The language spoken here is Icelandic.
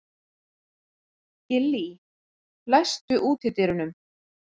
Gillý, læstu útidyrunum.